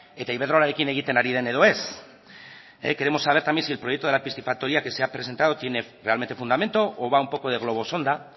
eta iberdrolarekin egiten ari den edo ez queremos saber también si el proyecto de la piscifactoría que se ha presentado tiene realmente fundamento o va un poco de globo sonda